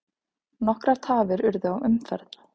Nokkrar tafir urðu á umferð.